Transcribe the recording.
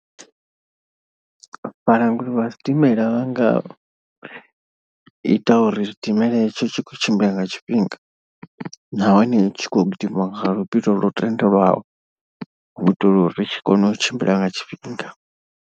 Vhalanguli vha zwidimela vha nga ita uri zwidimela hetsho tshi khou tshimbila nga tshifhinga. Nahone tshi kho gidima nga luvhilo lwo tendelwaho hu itela uri tshi kone u tshimbila nga tshifhinga.